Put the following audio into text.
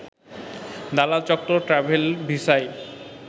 দালাল চক্র ট্র্যাভেল ভিসায়